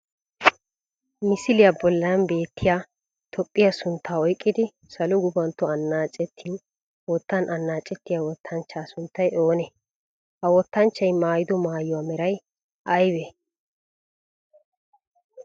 Misiliyaa bollan beettiya Toophphiyaa sunttaa oyqqidi salo gufantto annaacetin wottan annaacettiyaa wottanchchaa sunttay oonee? ha wottanchchay maayido maayuwaa merayi aybee?